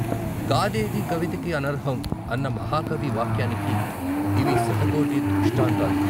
కాదేదీ కవితకి అనర్హం అన్న మహాకవి వాక్యానికి ఇవి శతకోటి దృష్టాంతాలు.